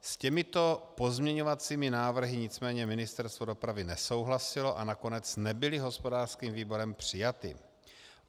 S těmito pozměňovacími návrhy nicméně Ministerstvo dopravy nesouhlasilo a nakonec nebyly hospodářským výborem přijaty.